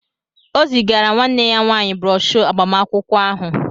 O zigara nwanne ya nwanyị broshọ agbamakwụkwọ ahụ